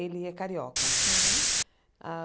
Ele é carioca. Hum a